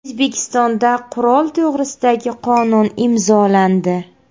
O‘zbekistonda Qurol to‘g‘risidagi qonun imzolandi.